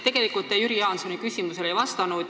Tegelikult te ei vastanud Jüri Jaansoni küsimusele.